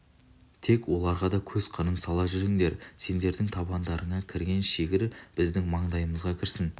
тек оларға да кез қырын сала жүріңдер сендердің табандарыңа кірген шегір біздің маңдайымызға кірсін